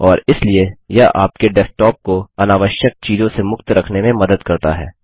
और इसलिए यह आपके डेस्कटॉप को अनावश्यक चीजों से मुक्त रखने में मदद करता है